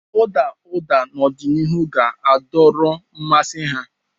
Ụda ụda n'ọdịnihu ga-adọrọ mmasị ha.